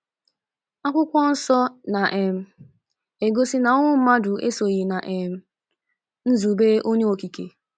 Akwụkwọnsọ na um - egosi na ọnwụ mmadụ esoghị ná um nzube Onye Okike.